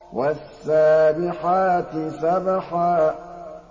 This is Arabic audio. وَالسَّابِحَاتِ سَبْحًا